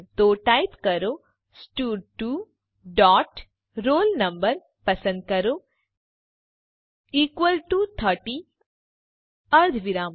તો ટાઈપ કરો સ્ટડ2 ડોટ roll no પસંદ કરો ઇકવલ ટુ ૩૦ અર્ધવિરામ